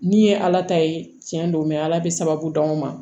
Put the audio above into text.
Ni ye ala ta ye tiɲɛ don ala bɛ sababu d'anw ma